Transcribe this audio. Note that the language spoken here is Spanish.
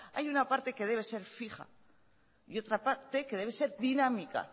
hay una parte que debe ser fija y otra parte que debe ser dinámica